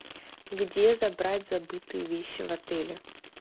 где забрать забытые вещи в отеле